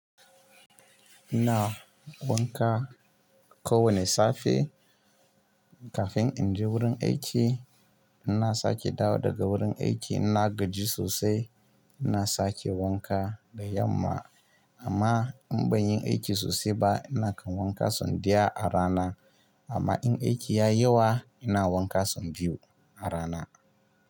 Ina wanka kowane safe kafin in je wurin aiki. Ina sake dawo daga wurin aiki, ina gaji sosai. Ina sake wanka da yamma. Amma in ban yi aiki sosai ba, ina kan wanka sau ɗaya a rana. Amma in aiki ya yi yawa, ina wanka sau biyu a rana.